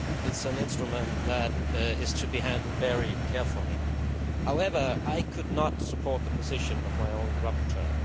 it is an instrument which is to be handled very carefully. However, I could not support the position of my own rapporteur.